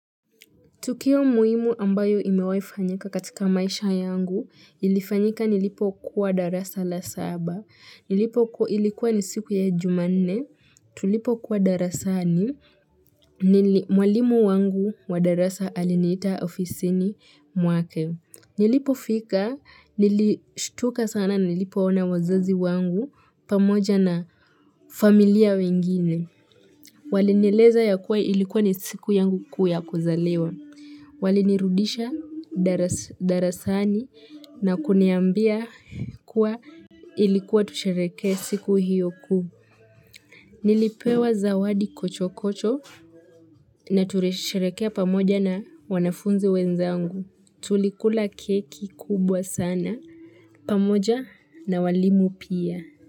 Tukio muhimu ambayo imewaifanyika katika maisha yangu, ilifanyika nilipo kuwa darasa la saba, ilikuwa ni siku ya jumane, tulipo kuwa darasani mwalimu wangu wa darasa alinita ofisini mwake. Nilipo fika, nilistuka sana, nilipo ona wazazi wangu pamoja na familia wengine. Walinileza ya kuwa ilikuwa ni siku yangu kuuya kuzaliwa. Wale nirudisha darasani na kuniambia kuwa ilikuwa tushereke siku hiyo kuu. Nilipewa zawadi kuchokoto na tureshereke pamoja na wanafunzi wenzangu. Tulikula keki kubwa sana. Pamoja na walimu pia.